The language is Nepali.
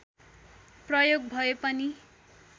प्रयोग भए पनि